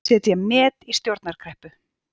Setja met í stjórnarkreppu